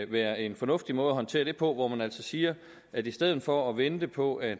være en fornuftig måde at håndtere det på hvor man altså siger at i stedet for at vente på at